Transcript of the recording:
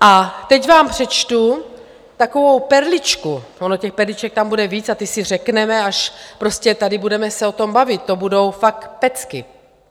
A teď vám přečtu takovou perličku, ono těch perliček tam bude víc a ty si řekneme, až prostě tady budeme se o tom bavit, to budou fakt pecky.